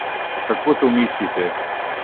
Kako to mislite?